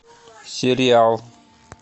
сериал